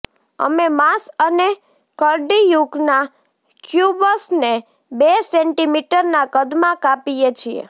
અમે માંસ અને કર્ડીયુકના ક્યુબ્સને બે સેન્ટીમીટરના કદમાં કાપીએ છીએ